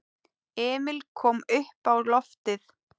Emil kom uppá loftið.